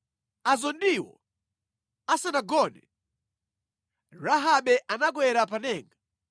Azondiwo asanagone, Rahabe anakwera pa denga